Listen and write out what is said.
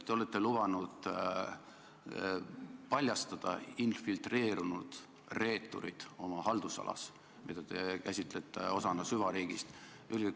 Te olete lubanud paljastada infiltreerunud reeturid oma haldusalas, mida te käsitlete osana süvariigist.